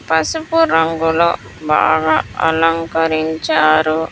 పసుపు రంగులో బాగా అలంకరించారు.